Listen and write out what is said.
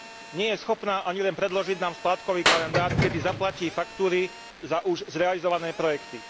Nie je schopná ani len predložiť nám splátkový kalendár, kedy zaplatí faktúry za už zrealizované projekty.